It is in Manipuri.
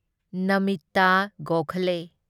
ꯅꯃꯤꯇꯥ ꯒꯣꯈꯥꯂꯦ